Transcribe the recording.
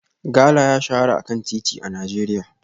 Gala ya shahara a kan titi a Najeriya